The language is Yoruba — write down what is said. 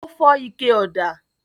Ó fọ́ ike ọ̀dà?